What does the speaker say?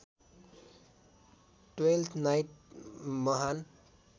twelfth night महान्